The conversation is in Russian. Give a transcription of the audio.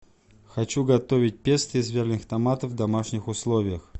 хочу готовить песто из вяленых томатов в домашних условиях